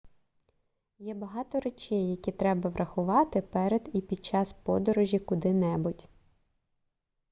є багато речей які треба врахувати перед і під час подорожі куди-небудь